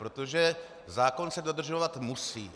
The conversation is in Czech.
Protože zákon se dodržovat musí.